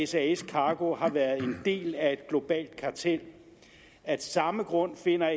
sas cargo har været en del af et globalt kartel af samme grund finder